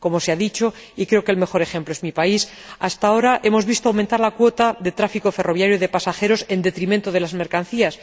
Como se ha dicho, y creo que el mejor ejemplo es mi país, hasta ahora hemos visto aumentar la cuota de tráfico ferroviario de pasajeros en detrimento de las mercancías.